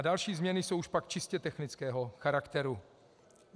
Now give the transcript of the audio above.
A další změny jsou pak už čistě technického charakteru.